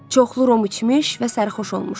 Çoxlu rom içmiş və sərxoş olmuşdular.